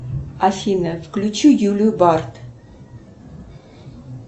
афина включи юлию бард